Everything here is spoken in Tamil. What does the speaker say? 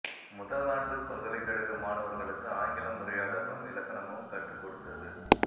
முதல் ஆண்டு பல்கலைக்கழக மாணவர்களுக்கு ஆங்கிலம் உரையாடலும் இலக்கணமும் கற்றுக் கொடுத்தது